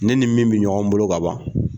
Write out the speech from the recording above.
Ne ni min bɛ ɲɔgɔn bolo ka ban